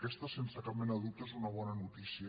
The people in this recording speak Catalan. aquesta sense cap mena de dubte és una bona notícia